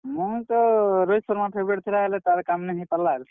ମୋର୍ ତ ରୋହିତ୍ ଶର୍ମା favourite ଥିଲା ହେଲେ ତାର୍ କାମ୍ ନେ ହେଇ ପାର୍ ଲା।